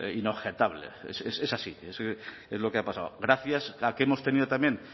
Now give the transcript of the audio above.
inobjetable es así es lo que ha pasado gracias a que hemos tenido también